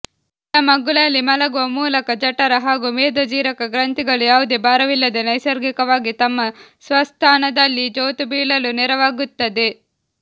ಎಡಮಗ್ಗುಲಲ್ಲಿ ಮಲಗುವ ಮೂಲಕ ಜಠರ ಹಾಗೂ ಮೇದೋಜೀರಕ ಗ್ರಂಥಿಗಳು ಯಾವುದೇ ಭಾರವಿಲ್ಲದೇ ನೈಸರ್ಗಿಕವಾಗಿ ತಮ್ಮ ಸ್ವಸ್ಥಾನದಲ್ಲಿ ಜೋತುಬೀಳಲು ನೆರವಾಗುತ್ತದೆ